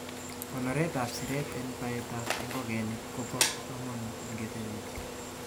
Konoreet ab siret en baetab ingogenik kobo komonut ingetelelchin.